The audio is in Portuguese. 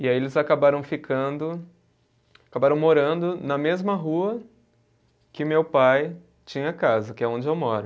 E aí eles acabaram ficando, acabaram morando na mesma rua que meu pai tinha casa, que é onde eu moro.